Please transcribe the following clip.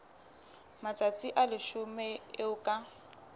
matsatsi a leshome eo ka